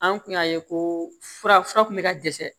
An kun y'a ye ko fura kun bɛ ka dɛsɛ